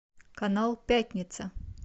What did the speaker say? канал пятница